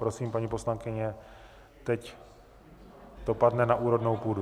Prosím, paní poslankyně, teď to padne na úrodnou půdu.